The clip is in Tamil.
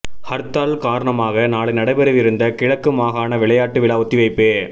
ஹர்த்தால் காரணமாக நாளை நடைபெறவிருந்த கிழக்கு மாகாண விளையாட்டு விழா ஒத்திவைப்பு